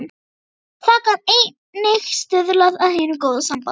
Það gat einnig stuðlað að hinu góða sambandi.